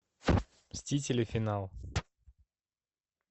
мстители финал